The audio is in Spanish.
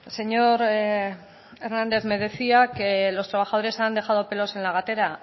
señor hernández me decía que los trabajadores han dejado pelos en la gatera